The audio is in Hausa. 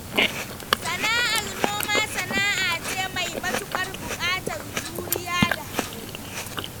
Sana'ar noma sana'a ce mai matuƙar buƙatar juriya da haƙuri.